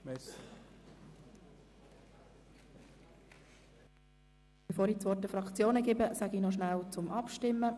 Bevor ich das Wort den Fraktionen erteile, informiere ich noch über den Ablauf der Abstimmungen: